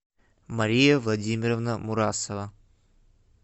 мария владимировна мурасова